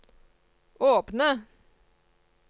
åpne